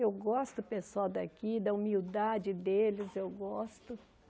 Eu gosto do pessoal daqui, da humildade deles, eu gosto.